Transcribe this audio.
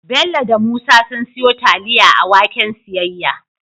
Bello da Musa sun siyo taliya a waken siyayya